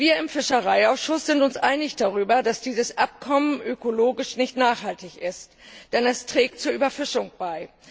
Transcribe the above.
Wir im Fischereiausschuss sind uns einig darüber, dass dieses Abkommen ökologisch nicht nachhaltig ist, denn es trägt zur Überfischung bei.